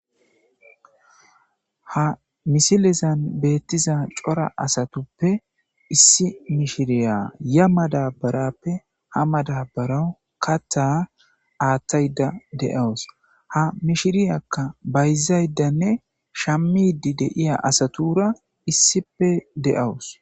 Ha misilezan bettiya cora asatuppe issi mishira yaa madabarappe ha madabara kaththa aaththayda de'awus. Ha mishiriyakka bayzayidanne shammidi de'iya asatura issipe de'awus.